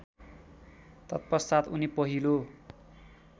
तत्पश्चात् उनी पहिलो